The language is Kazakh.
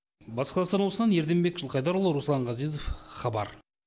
батыс қазақстан облысынан ерденбек жылқайдарұлы руслан ғазезов хабар